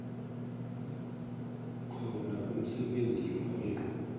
khona umsebenzi loyo